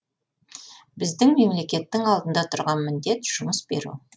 біздің мемлекеттің алдында тұрған міндет жұмыс беру